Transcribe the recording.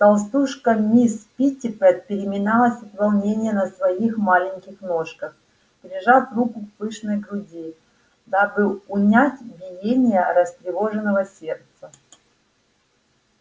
толстушка мисс питтипэт переминалась от волнения на своих маленьких ножках прижав руку к пышной груди дабы унять биение растревоженного сердца